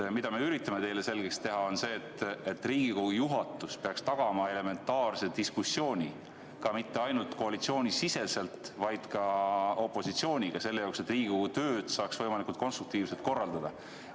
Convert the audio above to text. See, mida me üritame teile selgeks teha, on see, et Riigikogu juhatus peaks tagama elementaarse diskussiooni ja mitte ainult koalitsiooni, vaid ka opositsiooniga, et Riigikogu tööd saaks võimalikult konstruktiivselt korraldada.